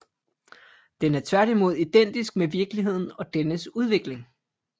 Den er tværtimod identisk med virkeligheden og dennes udvikling